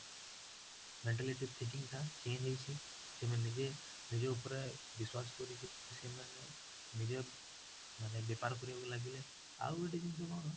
mentality thinking ଟା change ହେଇଚଛି ସେମାନେ ନିଜେ ନିଜ ଉପରେ ବିଶ୍ୱାସ କରିକି ସେମାନେ ନିଜର ମାନେ ବେପାର କରିବାକୁ ଲାଗିଲେ, ଆଉ ଗୋଟେ ଜିନିଷ କଣ,